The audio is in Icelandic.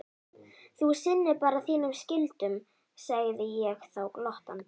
Þú sinnir bara þínum skyldum, segði ég þá glottandi.